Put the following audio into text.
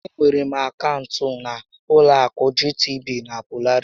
Enwere m akaụntụ na ụlọ akụ GTB na Polaris